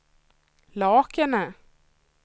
Lakene